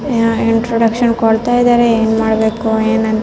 Introduction ಕೊಡ್ತಾ ಇದ್ದಾರೆ ಏನ್ ಮಾಡ್ಬೇಕ್ ಏನಂತ.